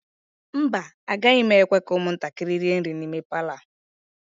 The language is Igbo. mba, agaghị m ekwe ka ụmụntakịrị rie nri n'ime Palọ a